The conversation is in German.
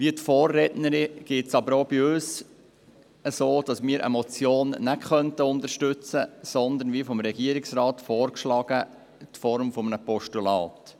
Wie der Vorrednerin geht es auch uns so, dass wir eine Motion nicht unterstützen können, sondern wie vom Regierungsrat vorgeschlagen die Form des Postulats.